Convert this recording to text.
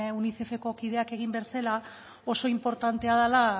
unicefeko kidak egin bezala oso inportantea dela